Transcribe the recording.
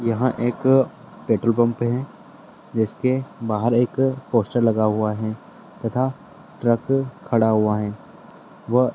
वहां एक petrol pump है जिसके बाहर एक पोस्टर लगा हुआ है तथा ट्रक खड़ा हुआ है।